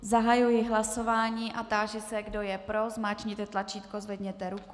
Zahajuji hlasování a táži se, kdo je pro, zmáčkněte tlačítko, zvedněte ruku.